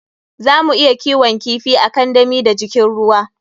Zamu iya kiwon kifi a kandami da jikin ruwa.